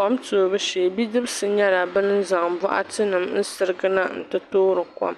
Kom toobu shee bidibsi nyɛla ban zaŋ bokatinima n-sirigina n-ti toori kom